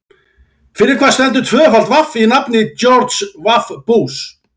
Fyrir hvað stendur tvöfalt vaff í nafni George W Bush?